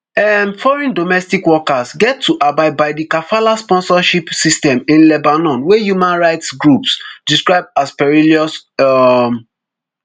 um foreign domestic workers get to abide by di kafala sponsorship system in lebanon wey human rights groups describe as perilous um